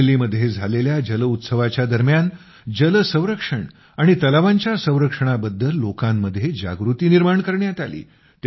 अमरेली मध्ये झालेल्या जल उत्सवाच्या दरम्यान जल संरक्षण आणि तलावाच्या संरक्षणाबद्दल लोकांमध्ये जागृती निर्माण करण्यात आली